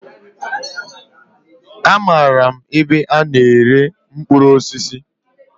Amaara m ebe a na-ere mkpụrụ osisi.